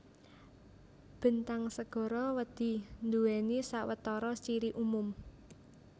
Bentang segara wedhi nduwèni sawetara ciri umum